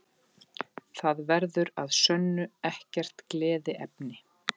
Það verður að sönnu ekkert gleðiefni